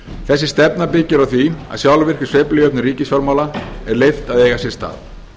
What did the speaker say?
þessi stefna byggir á því að sjálfvirkri sveiflujöfnun ríkisfjármála er leyft að eiga sér stað